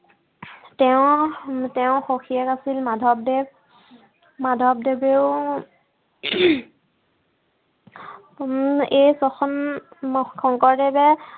তেওঁ, তেওঁ সখিয়েক আছিল মাধৱদেৱ মাধৱদেৱেও, উম এই ছখন, শংকৰদেৱে